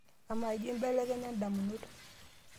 amaa jio inbelekenya indamunot